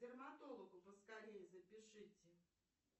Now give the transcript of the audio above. к дерматологу поскорее запишите